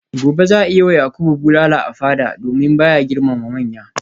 gobe za a yi wa yakubu bulala a fada domin ba ya girmama manya